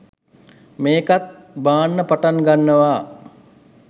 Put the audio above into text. මේකත් බාන්න පටන් ගන්නවා